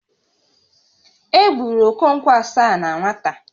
E gburu Okonkwo Asaá na nwata